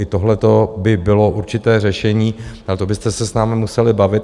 I tohleto by bylo určité řešení, ale to byste se s námi museli bavit.